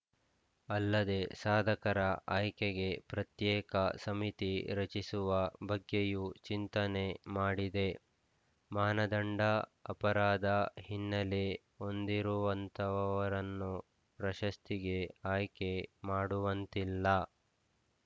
ಅಲ್ಲದೆ ಸಾಧಕರ ಆಯ್ಕೆಗೆ ಪ್ರತ್ಯೇಕ ಸಮಿತಿ ರಚಿಸುವ ಬಗ್ಗೆಯೂ ಚಿಂತನೆ ಮಾಡಿದೆ ಮಾನದಂಡ ಅಪರಾಧ ಹಿನ್ನೆಲೆ ಹೊಂದಿರುವಂತವರನ್ನು ಪ್ರಶಸ್ತಿಗೆ ಆಯ್ಕೆ ಮಾಡುವಂತಿಲ್ಲ